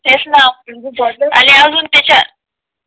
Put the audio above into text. तेच ना अजून त्याच्या